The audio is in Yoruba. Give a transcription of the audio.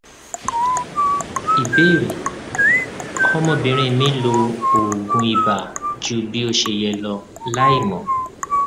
ìbéèrè ọmọbìnrin mi lo oògùn ibà ju bí ó ṣe yẹ lọ láìmọ